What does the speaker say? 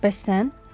Bəs sən?